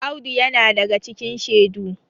Audu yana daga cikin shedu